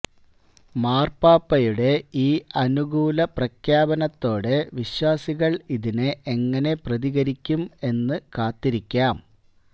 മാര്പാപ്പയുടെ ഈ അനുകൂല പ്രഖ്യാപനത്തോടെ വിശ്വാസികള് ഇതിനെ എങ്ങനെ പ്രതികരിക്കും എന്നു കാത്തിരിക്കാം